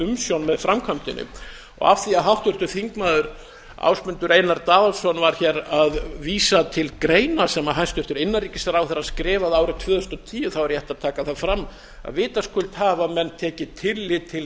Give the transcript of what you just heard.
umsjón með framkvæmdinni af því háttvirtur þingmaður ásmundur einar daðason var hér að vísa til greina sem hæstvirtur innanríkisráðherra skrifaði árið tvö þúsund og tíu er rétt að taka það fram að vitaskuld hafa menn tekið tillit til